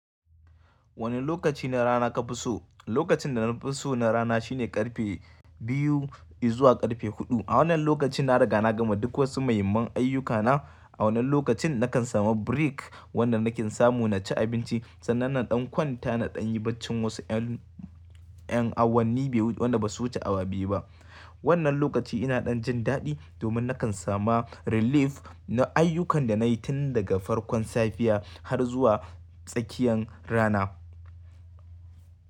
Wane lokaci da rana ka fi so? Lokacin da na fi so na rana shine ƙarfe biyu zuwa ƙarfe huɗu. A wannan lokaci na riga na gama duk wasu muhimman ayyukana. A wannan lokacin nakan samu break wanda nake samu na ci abinci, sannan na ɗan kwanta na ɗan yi bacci wasu ƴan, ƴan awanni wanda ba su wuce awa biyu ba. Wannan lokaci ina ɗan jin daɗi domin nakan samu relief na ayyukan da na yi tun daga farkon safiya har zuwa tsakiyan rana.